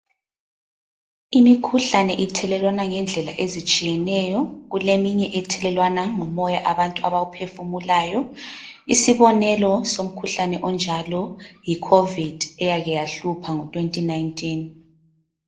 Imikhuhlane ithelelwana ngendlela ezitshiyeneyo, kuleminye ethelelwana ngomoya abantu abawuphefumulayo isibonelo somkhuhlane onjalo yi covid eyake yahlupha ngo 2019.